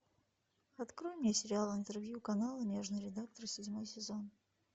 открой мне сериал интервью канала нежный редактор седьмой сезон